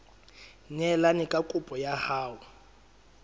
neelane ka kopo ya hao